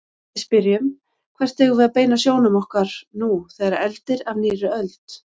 Við spyrjum: Hvert eigum við að beina sjónum okkar nú þegar eldir af nýrri öld?